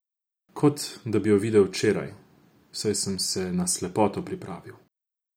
Kot da bi jo videl včeraj, saj sem se na slepoto pripravil.